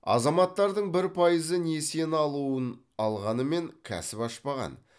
азаматтардың бір пайызы несиені алуын алғанымен кәсіп ашпаған